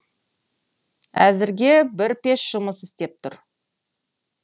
әзірге бір пеш жұмыс істеп тұр